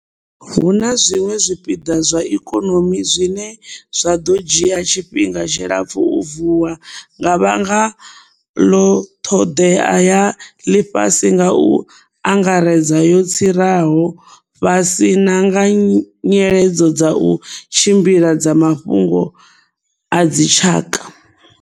Hu na zwiṅwe zwipiḓa zwa ikonomi zwine zwa ḓo dzhia tshifhinga tshilapfu u vuwa nga vhanga ḽo ṱhoḓea ya ḽifhasi nga u angaredza yo tsiraho fhasi na nga nyiledzo dza u tshimbila dza mafhungo a dzitshaka.